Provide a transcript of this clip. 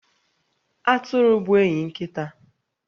Atụrụ bụ enyi nkịta.